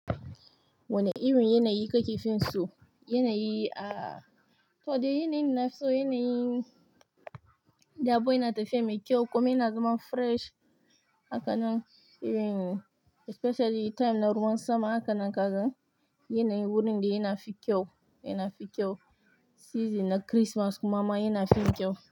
Wane irin yanayi ka kifi so? Yanayi ah, kawai dai yanayin da nafi so yanayi da abu yana tafiya mai kyau komai yana zama fresh. Haka nan, especially time na ruwan sama. Haka nan kaza yanayi wurin da yana fi kyau, yana fi kyau. Season na Kirismas kuma ma yana fi kyau.